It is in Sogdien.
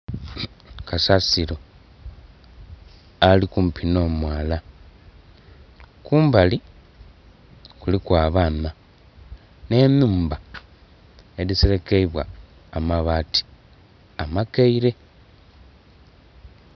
Kasasiro ali kumpi n'omwala kumbali kuliku abaana ne nhumba edhiserekeibwa amabaati amakeire.